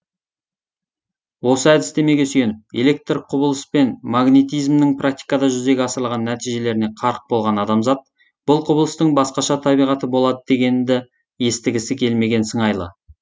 осы әдістемеге сүйеніп электрлік құбылыс пен магнитизмнің практикада жүзеге асырылған нәтижелеріне қарық болған адамзат бұл құбылыстың басқаша табиғаты болады дегенді естігісі келмеген сыңайлы